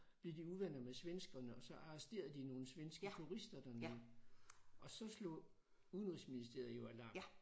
Blev de uvenner med svenskerne og så arresterede de nogle svenske turister dernede og så slog udenrigsministeriet jo alarm